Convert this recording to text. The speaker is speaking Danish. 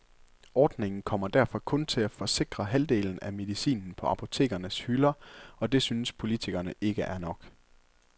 Ordningen kommer derfor kun til at forsikre halvdelen af medicinen på apotekernes hylder, og det synes politikerne ikke er nok.